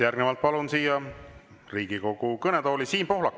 Järgnevalt palun Riigikogu kõnetooli Siim Pohlaku.